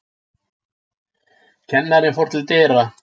Kennarinn fór til dyra.